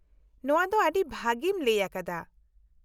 ᱱᱚᱶᱟ ᱫᱚ ᱟᱹᱰᱤ ᱵᱷᱟᱹᱜᱤᱢ ᱞᱟᱹᱭ ᱟᱠᱟᱫᱟ ᱾